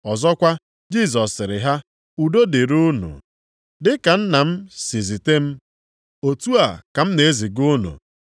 Ọzọkwa, Jisọs sịrị ha, “Udo dịrị unu! Dị ka Nna m si zite m, otu a ka m na-eziga unu.”